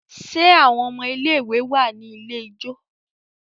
Ṣe àwọn ọmọ ilé ìwé wá ní ilẹ̀ ijọ?